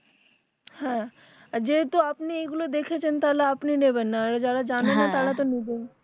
হ্যাঁ যেহেতু আপনি এগুলো দেখেছেন তাহলে আপনি নেবেননা